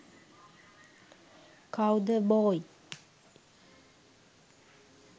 cow the boy